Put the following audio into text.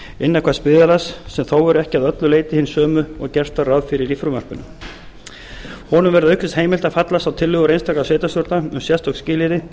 innan hvers byggðarlags sem þó eru ekki að öllu leyti hin sömu og gert var ráð fyrir í frumvarpinu honum verði auk þess heimilt að fallast á tillögur einstakra sveitarstjórna um sérstök skilyrði